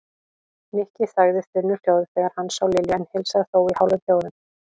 Nikki þagði þunnu hljóði þegar hann sá Lilju en heilsaði þó í hálfum hljóðum.